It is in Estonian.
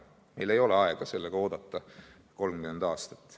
Meil ei ole aega sellega oodata 30 aastat.